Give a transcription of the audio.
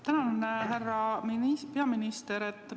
Tänan, härra peaminister!